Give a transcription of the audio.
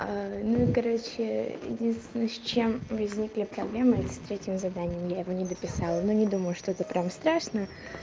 ну и короче единственное с чем возникли проблемы это с третьим заданием я его не дописала но не думаю что это прям страшно